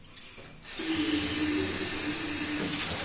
привет ты лучше чем ютуб